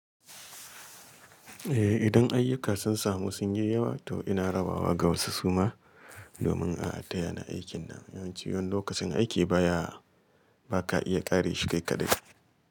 Eh, idan ayyuka sun samu sun yi yawa to ina rabawa ga wasu suma domin a adaya na aikin nan. Yawanci wani lokacin aiki baya ba ka iya ƙare shi kai kaɗai.